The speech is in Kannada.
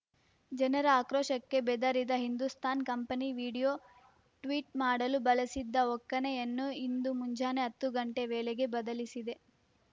ಜನರ ಆಕ್ರೋಶಕ್ಕೆ ಬೆದರಿದ ಹಿಂದೂಸ್ತಾನ್ ಕಂಪನಿ ವೀಡಿಯೊ ಟ್ವಿಟ್ ಮಾಡಲು ಬಳಸಿದ್ದ ಒಕ್ಕಣೆಯನ್ನು ಇಂದು ಮುಂಜಾನೆ ಹತ್ತು ಗಂಟೆ ವೇಳೆಗೆ ಬದಲಿಸಿದೆ